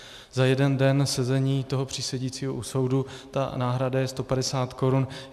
Za jeden den sezení toho přísedícího u soudu ta náhrada je 150 korun.